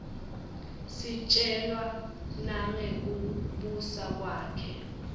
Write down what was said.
sitjelwa nangekibusa kwakhe